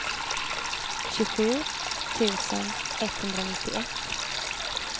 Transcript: tjugosju tusen etthundranittioett